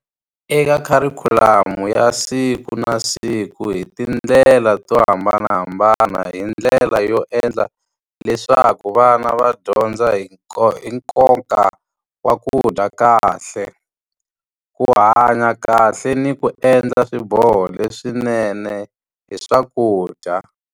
Eka kharikhulamu ya siku na siku hi tindlela to hambanahambana, hi ndlela yo endla leswaku vana va dyondza hi hi nkoka wa ku dya kahle. Ku hanya kahle ni ku endla swiboho leswinene hi swakudya.